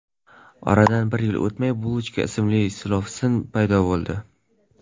Oradan bir yil o‘tmay Bulochka ismli silovsin paydo bo‘ldi.